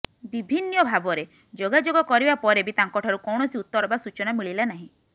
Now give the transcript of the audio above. ବିଭିନ୍ନ ଭାବରେ ଯୋଗାଯୋଗ କରିବା ପରେ ବି ତାଙ୍କଠାରୁ କୌଣସି ଉତ୍ତର ବା ସୂଚନା ମିଳିଲା ନାହିଁ